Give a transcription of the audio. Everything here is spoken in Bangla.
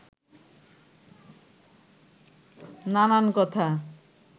নানান কথা